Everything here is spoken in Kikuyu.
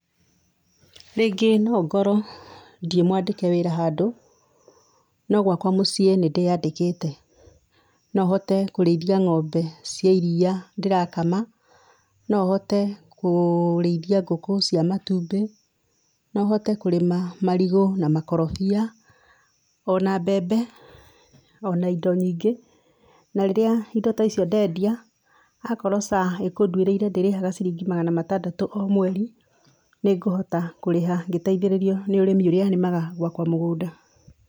Rĩngĩ no ngorwo ndirĩ mwandĩke wĩra handũ no gwakwa mũciĩ nĩ ndĩyandĩkĩte, no hote kũrĩithia ng'ombe cia iria ndĩrakama, no hote kũrĩithia ngũkũ cia matũmbĩ, no hote kũrĩma marigũ na makorobia, ona mbembe, ona indo nyingĩ na rĩrĩa indo ta icio ndendia akorwo SHA ĩkũnduĩriire ndĩrĩhaga ciringi magana matandatũ o mweri nĩngũhota kũrĩha ngĩteithĩrĩrio nĩ ũrĩmi ũrĩa nĩmaga gwakwa mũgũnda.